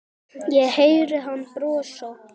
Ég heyri hann brosa.